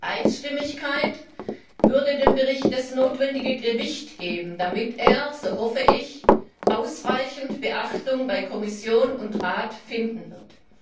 Einstimmigkeit würde dem Bericht das notwendige Gewicht geben, damit er so hoffe ich ausreichend Beachtung bei Kommission und Rat finden wird.